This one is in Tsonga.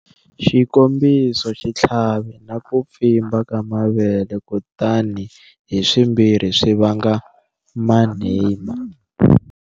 Xikombiso xitlhavi na ku pfimba ka mavele kutani hi swimbirhi swi vanga Mannheimia.